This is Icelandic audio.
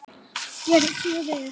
Gerið svo vel!